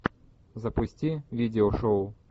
запусти видеошоу